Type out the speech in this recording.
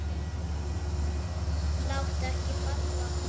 Lát akkeri falla.